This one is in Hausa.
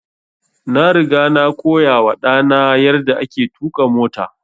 Na riga na koya wa ɗa na yarda ake tuƙa mota